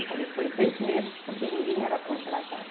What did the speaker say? Eu falei, foi seis meses porque ninguém era contratado.